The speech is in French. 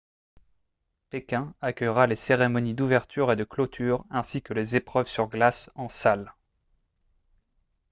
pékin accueillera les cérémonies d'ouverture et de clôture ainsi que les épreuves sur glace en salle